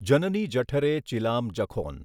જનની જઠરે ચીલામ જખોન.